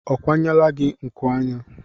Ọ kwanyela gi nku anya?